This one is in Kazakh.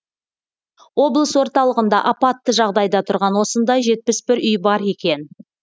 облыс орталығында апатты жағдайда тұрған осындай жетпіс бір үй бар екен